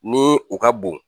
Ni u ka bon